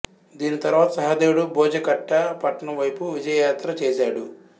దీని తరువాత సహదేవుడు భోజకట పట్టణం వైపు విజయయాత్ర చేశాడు